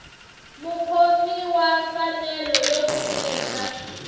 mukhomi wa mfanelo yo kurisa